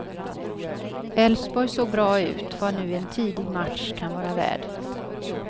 Elfsborg såg bra ut, vad nu en tidig match kan vara värd.